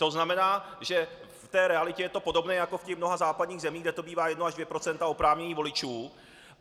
To znamená, že v té realitě je to podobné jako v těch mnoha západních zemích, kde to bývá 1 až 2 % oprávněných voličů.